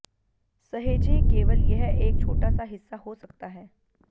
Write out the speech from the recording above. सहेजें केवल यह एक छोटा सा हिस्सा हो सकता है